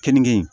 Keninge in